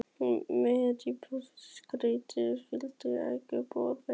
Mér þótti skrýtið, að hann skyldi ekki bjóða mér koníaksstaup.